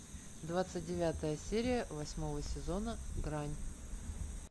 двадцать девятая серия восьмого сезона грань